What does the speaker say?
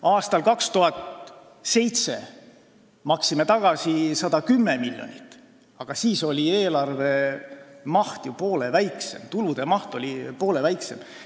Aastal 2007 maksime tagasi 110 miljonit, aga siis oli eelarve maht, tulude maht poole väiksem.